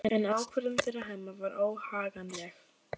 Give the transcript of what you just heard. En ákvörðun þeirra Hemma var óhagganleg.